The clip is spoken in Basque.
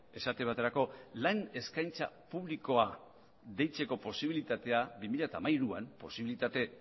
esate baterako lan eskaintza publikoa deitzeko posibilitatea bi mila hamairuan posibilitate